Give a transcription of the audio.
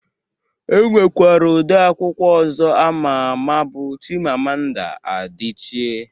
E nwekwara ode akwụkwọ ọzọ ama ama bụ Chimamanda Adichie